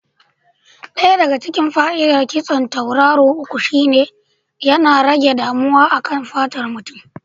Ɗaya daga cikin fa'idar kitson tauraro uku shine cewa yana rage damuwa a kan fatar mutum.